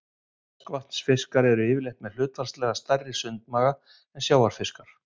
Ferskvatnsfiskar eru yfirleitt með hlutfallslega stærri sundmaga en sjávarfiskar.